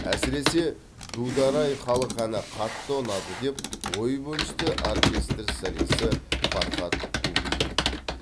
әсіресе дудар ай халық әні қатты ұнады деп ой бөлісті оркестр солисі фархат кубиев